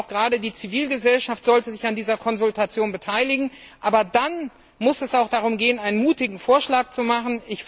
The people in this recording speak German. Gerade die Zivilgesellschaft sollte sich an dieser Konsultation beteiligen, aber dann muss es auch darum gehen, einen mutigen Vorschlag zu machen.